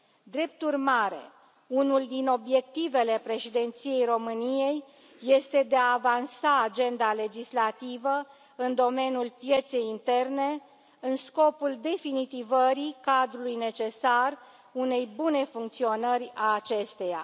Drept urmare, unul din obiectivele Președinției României este de a avansa agenda legislativă în domeniul pieței interne, în scopul definitivării cadrului necesar unei bune funcționări a acesteia.